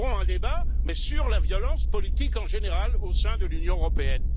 Ouvrons un débat, mais sur la violence politique en général au sein de l'Union européenne.